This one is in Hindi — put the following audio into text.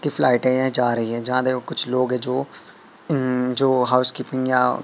किस लाइटें ये जा रही है जहां देखो कुछ लोग हैं जो अं जो हाउसकीपिंग --